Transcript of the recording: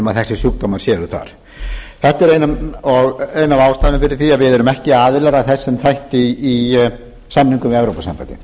að þessir sjúkdómar séu þar þetta er ein af ástæðunum fyrir því að við erum ekki aðilar að þessum þætti í samningnum við evrópusambandið